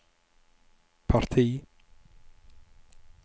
parti